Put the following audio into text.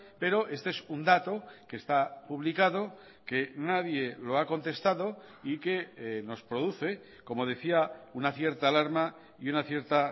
pero este es un dato que está publicado que nadie lo ha contestado y que nos produce como decía una cierta alarma y una cierta